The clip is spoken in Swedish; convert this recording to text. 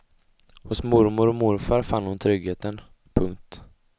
Hos mormor och morfar fann hon tryggheten. punkt